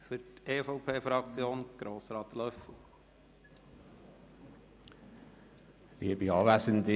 Für die EVP-Fraktion Grossrat Löffel-Wenger.